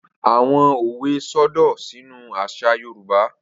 Awọn òwe sodo sínú àṣà Yorùbá.